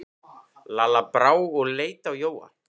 Lalla brá og leit á Jóa.